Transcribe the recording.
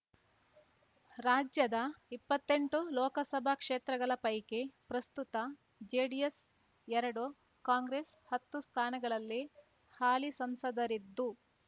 ರಾಜ್ಯದ ಇಪ್ಪತ್ತೆಂಟು ಲೋಕಸಭಾ ಕ್ಷೇತ್ರಗಳ ಪೈಕಿ ಪ್ರಸ್ತುತ ಜೆಡಿಎಸ್ ಎರಡು ಕಾಂಗ್ರೆಸ್ ಹತ್ತು ಸ್ಥಾನಗಳಲ್ಲಿ ಹಾಲಿ ಸಂಸದರಿದ್ದು